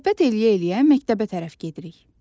Söhbət eləyə-eləyə məktəbə tərəf gedirik.